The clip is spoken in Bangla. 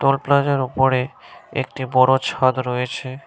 টোল প্লাজার উপরে একটি বড় ছাদ রয়েছে।